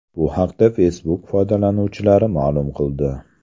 Bu haqda Facebook foydalanuvchilari ma’lum qildi .